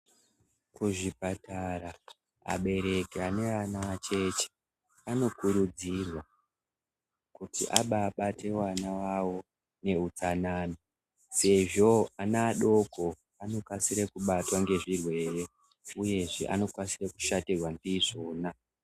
Ku zvipatara abereki ane ana acheche ano kurudzirwa kuti abai bate wana vavo nge utsanana sezvo ana adoko anokasire kubatwa nge zvirwere uyezve ano kwanise kushatirwa ndizvona.